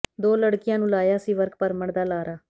ਦੋ ਲੜਕੀਆਂ ਨੂੰ ਲਾਇਆ ਸੀ ਵਰਕ ਪਰਮਿਟ ਦਾ ਲਾਰਾ